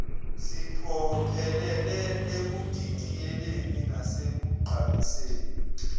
siphokophelele ekudidiyeleni nasekugqamiseni